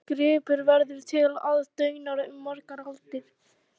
Þessi gripur verður til aðdáunar um margar aldir